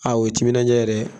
o ye timinandiya ye dɛ.